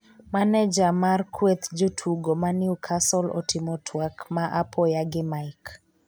Maneja mar kweth jotugo ma newcastle otimo twak ma apoya gi Mike